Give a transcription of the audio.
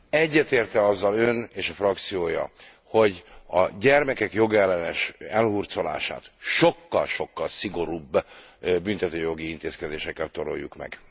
Egyetért e azzal Ön és a frakciója, hogy a gyermekek jogellenes elhurcolását sokkal sokkal szigorúbb büntetőjogi intézkedésekkel toroljuk meg?